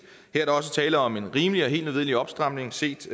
her er der også tale om en rimelig og helt nødvendig opstramning set